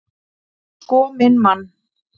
Sko minn mann!